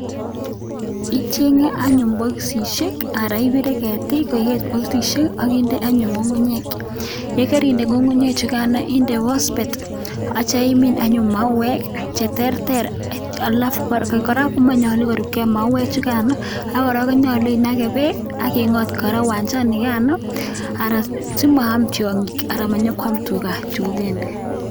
Ichenge anyun bokosisiek Ara ibire ketik ak koikeit bostishe akinde anyun ngu'ngu'nyek akitya index phosphate akitya imin anyun mauwek cheterter akoraa komanyalu korubgei mauwek chukano akoraa konyalu image bek akingot kora kiwanchanikano simayam tiangik amanyokwam tuga